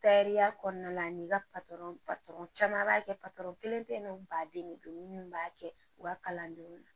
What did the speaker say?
Tariya kɔnɔna na n'i ka caman b'a kɛ kelen tɛ ye nɔ baden de don minnu b'a kɛ u ka kalandenw na